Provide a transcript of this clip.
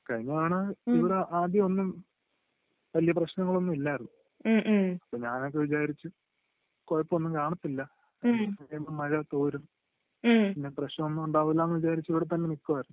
കഴിഞ്ഞ തവണ ഇവിടെ ആദ്യം ഒന്നും വല്യ പ്രശ്നങ്ങൾ ഒന്നും ഇല്ലായിരുന്നു അപ്പൊ ഞാനൊക്കെ വിചാരിച്ചു കൊഴപ്പം ഒന്നും കാണത്തില്ല ആദ്യം ഒന്ന് മഴ തോരും പിന്നെ പ്രശ്നം ഒന്നും ഉണ്ടാവില്ലെന്ന് വിജാരിച്ച് ഇവിടെ തന്നെ നിക്കുവായിരുന്നു